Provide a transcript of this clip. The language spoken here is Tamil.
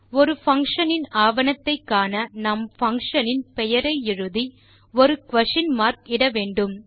ஒரு பங்ஷன் இன் ஆவணத்தை காண நாம் பங்ஷன் இன் பெயரை எழுதி ஒரு குயஸ்ஷன் மார்க் ஐ இட வேண்டும்